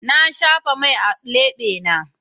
Na shafa mai a lebena.